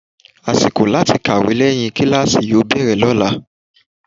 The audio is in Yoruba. Àsìkò láti kàwé lẹ́yìn kíláàsì yóò bẹ̀rẹ̀ lọ́la.